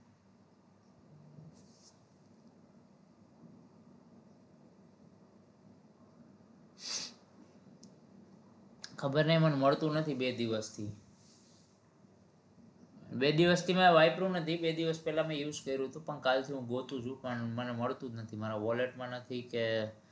ખબર નહી મને મળતું નથી બે દિવસ થી બે દિવસ થી મેં વાપર્યું નથી બે દિવસ પેહલા મેં use કર્યું હતું પણ કાલથી હું ગોતું છું પણ મને મળતું નથી મારા wallet માં નથી કે